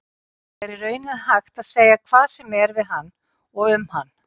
Það er í rauninni hægt að segja hvað sem er við hann og um hann.